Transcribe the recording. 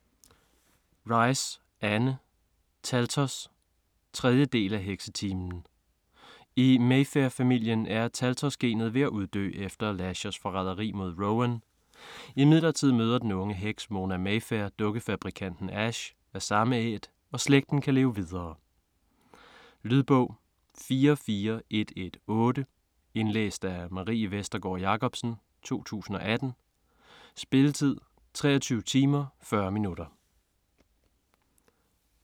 Rice, Anne: Taltos 3. del af Heksetimen. I Mayfair-familien er taltos-genet ved at uddø efter Lashers forræderi mod Rowan. Imidlertid møder den unge heks Mona Mayfair dukkefabrikanten Ash - af samme æt - og slægten kan leve videre. Lydbog 44118 Indlæst af Marie Vestergård Jacobsen, 2018. Spilletid: 23 timer, 40 minutter.